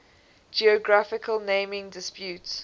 geographical naming disputes